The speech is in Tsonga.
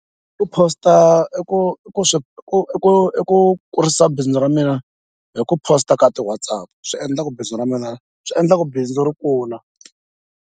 U post-a i ku i ku i ku i ku i ku kurisa bindzu ra mina hi ku post-a ka ti-WhatsApp swi endla ku bindzu ra mina swi endla ku bindzu ri kula.